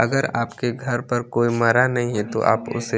अगर आप के घर पर कोई मरा नहीं है तो आप उसे--